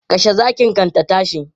Kashe zakin kan ta tashi!